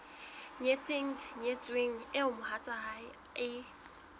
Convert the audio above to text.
nyetseng nyetsweng eo mohatsae e